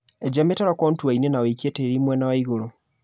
eja mĩtaro kontuainĩ na wĩikie tĩri mwena waigũrũ.